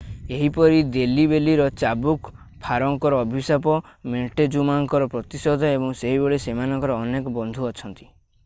ଏହିପରି ଦେଲ୍ଲୀ ବେଲିର ଚାବୁକ ଫାରୋଙ୍କର ଅଭିଶାପ ମୋଣ୍ଟେଜୁମାଙ୍କର ପ୍ରତିଶୋଧ ଏବଂ ସେହିଭଳି ସେମାନଙ୍କର ଅନେକ ବନ୍ଧୁ ଅଛନ୍ତି